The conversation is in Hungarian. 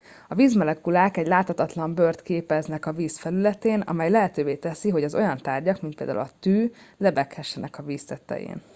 a vízmolekulák egy láthatatlan bőrt képeznek a víz felületén amely lehetővé teszi hogy az olyan tárgyak mint például a tű lebeghessenek a víz tetején